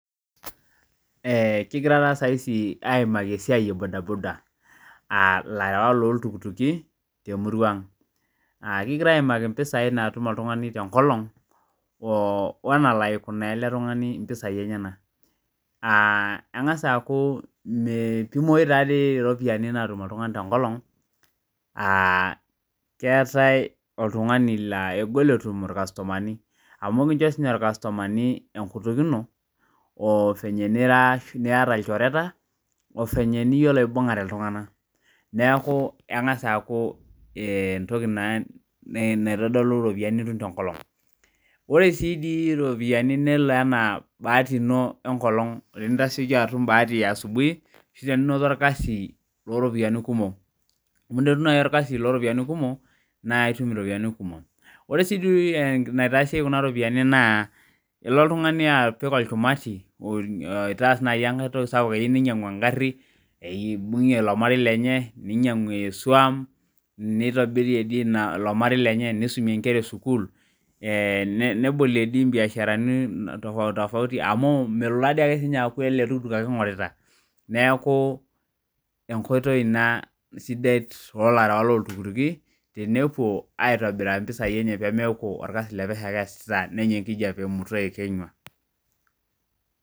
Kigira taa saizi aimaki esiaii e budaboda, aa latrawak loltukituki te muruaang'. Kigira aimaki mpisai naatum oltungani te inkolong o nelo aikunaa ale tungani mpisai enyena, engas aaku metumoi taa dei iropiyiani naatum oltungani te inkolong, aa keatae oltungani naa egol etum lkastomani, amu ekincho sii ninye ilkastomani enkutuk ino ovenye niraaa, nieta ilchoreta, ovenye niyiolo aibung'are iltungana, neaku eng'as aaku entoki naa naitodolu iropiyiani ninoto te nkolong. Ore sii dei iropiyiani nelo ana baati ino enkolong tenintasheki atum baati easubui ashu teninoto ilkasi looropiyiani kumok, amu teninoto nai ilkasi looropiyiani kumok naa itum iropiyiani kumok, ore sii doi netaasi kuna iropiyiani naaa ilo ltungani apik olkimati oitaasi naa iniankae toki sapuk, eyeu neinyang'u engarri, eibung'e ilo marei lenye, neinyang'u esuom, neitobirie dei ilo marei lenye, neisumie enkera esukuul, nebolie dei imbiasharani tofauti tofauti amuu melo taa sii ninye aaaku ale ltukutuk ake eing'orita, neaku enkoitoi ina sidai too larawak loo ltukituki tenepuo aitobiraa mpisai enye pemeaku olkasi le pesheu ake easita neye nkijepe me, uto eikenywa.